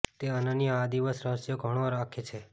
તે અનન્ય આ દિવસ રહસ્યો ઘણો રાખે છે